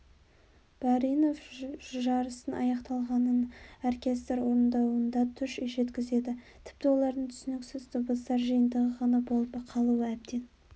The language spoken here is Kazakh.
баринов жарыстың аяқталғанын оркестр орындауында туш жеткізеді тіпті олардың түсініксіз дыбыстар жиынтығы ғана болып қалуы әбден